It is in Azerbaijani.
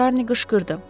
Şarni qışqırdı.